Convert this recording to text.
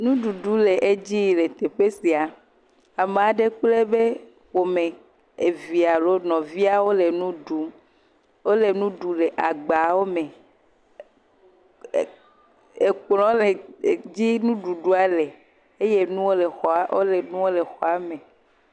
Nu ɖuɖu le edzi yi le teƒe sia. Ame aɖe kpl eƒe ƒome, evia alo nɔvia wole nu ɖum. Wole nu ɖu le agbawome. Ekplɔ̃ le edzi nuɖuɖua le eye nuwo le xɔa, eye nuwo le xɔa me.